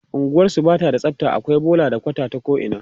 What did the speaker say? unguwarsu Bata da tsafta akwai bola da kwata ta ko ina